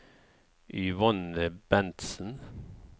Yvonne Bentsen